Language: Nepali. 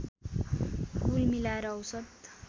कुल मिलाएर औसत